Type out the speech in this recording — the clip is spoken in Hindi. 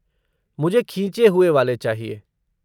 मुझे खींचे हुए वाले चाहिए।